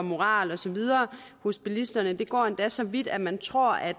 moral og så videre hos bilisterne går endda så vidt at man tror at